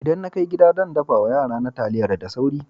Idan na kai gida, zan daffa ma yara na taliyar da sauri.